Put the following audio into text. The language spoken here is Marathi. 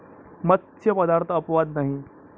मत्स्य पदार्थ अपवाद नाही.